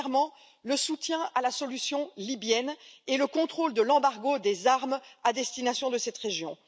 Premièrement, le soutien à la solution libyenne et le contrôle de l'embargo des armes à destination de cette région.